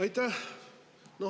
Aitäh!